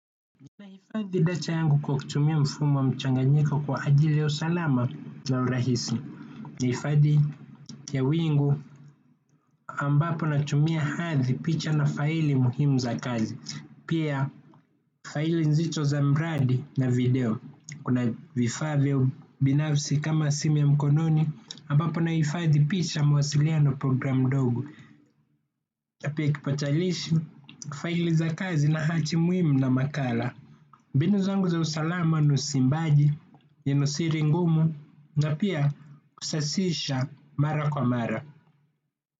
Nahifadhi data yangu kwa kutumia mfumo wa mchanganyiko kwa ajili ya usalama na urahisi. Nahifadhi ya wingu ambapo natumia hadi picha na faili muhimu za kazi. Pia faili nzito za mradi na video. Kuna vifaa vya binafsi kama simu ya mkononi ambapo nahifadhi picha mawasiliano programu ndogo. Na pia kipatalishi faili za kazi na hati muhimu na makala. Mbinu zangu za usalama ni usimbaji, nenosiri ngumu na pia kusasisha mara kwa mara.